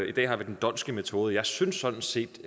i dag har vi den dhondtske metode og jeg synes sådan set